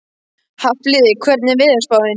Hafliði, hvernig er veðurspáin?